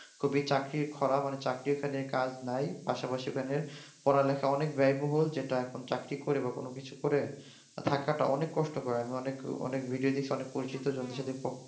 চাকরির খড়া মানে চাকরির কাজ নাই পাশাপাশি ওখানে পড়ালেখা অনেক ব্যয়বহুল যেটা এখন চাকরি করে এবং কোন কিছু করে থাকাটা অনেক কষ্টকর অনেক অনেক ভিডিও দেখছি অনেক পরিচিত অনেক জনের সাথে